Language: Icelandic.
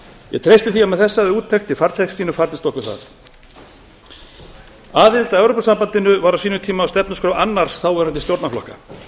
ég treysti því að með þessa úttekt í farteskinu farnist okkur það aðild að evrópusambandinu var á sínum tíma á stefnuskrá annars þáverandi stjórnarflokka